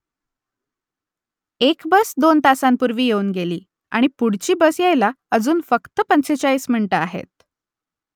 एक बस दोन तासांपूर्वी येऊन गेली आणि पुढची बस यायला अजून फक्त पंचेचाळीस मिनिटं आहेत